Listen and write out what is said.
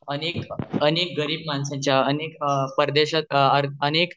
अनेक अनेक गरीब माणसाच्या अनेक परदेशात अनेक